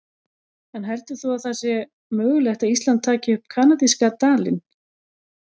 En heldur þú að það sé mögulegt að Ísland taki upp kanadíska dalinn?